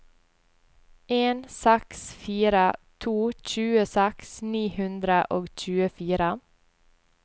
en seks fire to tjueseks ni hundre og tjuefire